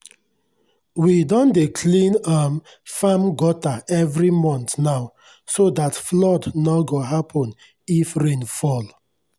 we don dey clean um farm gutter every month now so that flood nor go happen if rain fall